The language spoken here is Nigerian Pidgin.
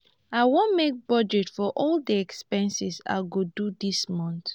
i wan make budget for all the expenses i go do dis month